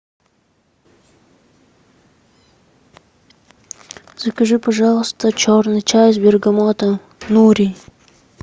закажи пожалуйста черный чай с бергамотом нури